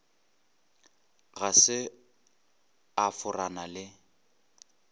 ga se a forana le